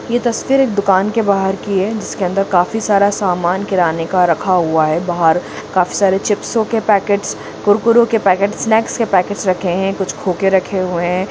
ये तस्वीर एक दूकान की बहार की है जिसके अंदर काफी सारा सामान किराने का रखा हुआ है बहार काफी सारे छिपसो की पैकेट्स कुरकुरे के पैकेट्स स्नैक्स के पैकेट्स रखे है कुछ खोके रखे हुई है।